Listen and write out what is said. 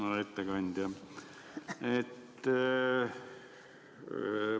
Hea ettekandja!